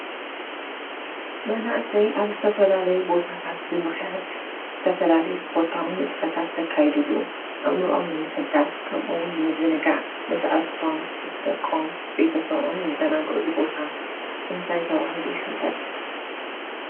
መናእሰይ ኣብ ዝተፈላለዩ ቦታት ብምኻያድ ዝተፈላለዩ ስፖርታዊ ንጥፈታት ዘካይድሉ ኣእምሮኦም ንምሕዳስ ከምኡ እውን ንምዝንጋዕ ምስ ኣዕሪክቶም ፣ ምስ ደቆም፣ ምስ ቤተሰቦም ዝዘናግዕሉ ቦታ እንታይ ተባሂሉ ይፍለጥ?